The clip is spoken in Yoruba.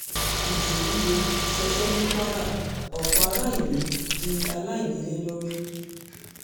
ìjì líle ṣọṣẹ́ ní kwara ọ̀pọ̀ aráàlú di aláìnílé lórí